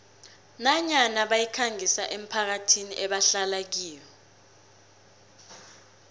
nanyana bayikhangisa emphakathini ebahlala kiyo